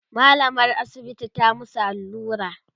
mallamar asibiti ta musu allura